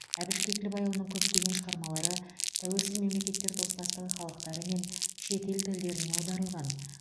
әбіш кекілбайұлының көптеген шығармалары тәуелсіз мемлекеттер достастығы халықтары мен шетел тілдеріне аударылған